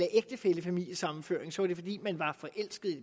ægtefællefamiliesammenføring så var det fordi man var forelsket i